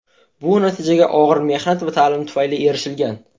Bu natijaga og‘ir mehnat va ta’lim tufayli erishilgan.